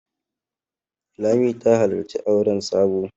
Lami ta halarci auren Sabo.